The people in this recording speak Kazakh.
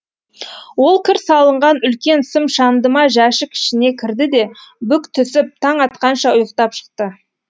ол кір салынған үлкен сым шандыма жәшік ішіне кірді де бүк түсіп таң атқанша ұйықтап шықты